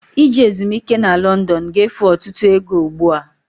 Ije ezumiike na London ga-efu ọtụtụ ego ugbu a.